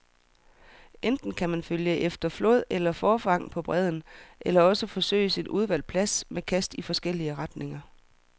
Enten kan man følge efter flåd eller forfang på bredden, eller også afsøges en udvalgt plads med kast i forskellige retninger.